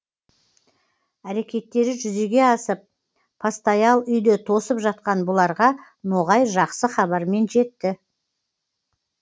әрекеттері жүзеге асып постоял үйде тосып жатқан бұларға ноғай жақсы хабармен жетті